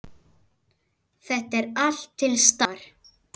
Þetta er allt til staðar!